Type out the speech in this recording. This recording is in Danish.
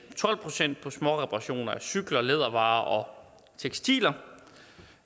tolv procent på småreparationer af cykler lædervarer og tekstiler